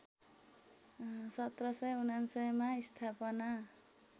१७९९ मा स्थापना